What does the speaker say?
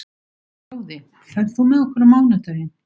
Fróði, ferð þú með okkur á mánudaginn?